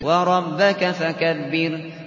وَرَبَّكَ فَكَبِّرْ